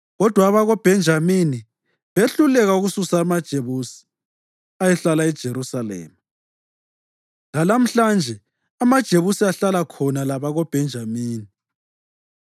Kodwa abakoBhenjamini behluleka ukususa amaJebusi ayehlala eJerusalema; lalamhlanje amaJebusi ahlala khona labakoBhenjamini.